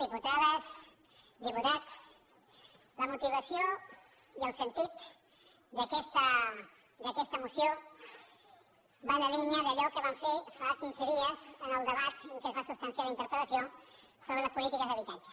diputades diputats la motivació i el sentit d’aquesta moció van en la línia d’allò que vam fer fa quinze dies en el debat en què es va substanciar la interpel·lació sobre les polítiques d’habitatge